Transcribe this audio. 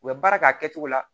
U bɛ baara k'a kɛcogo la